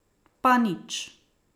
Pa nič ...